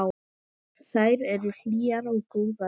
Þær eru hlýjar og góðar.